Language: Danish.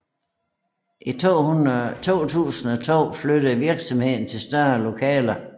I 2002 flyttede virksomheden til større lokaler